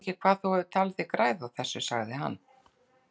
Ég veit ekki hvað þú hefur talið þig græða á þessu, sagði hann.